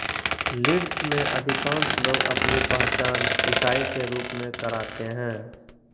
Leeds में अधिकांश लोग अपनी पहचान ईसाई के रूप में कराते हैं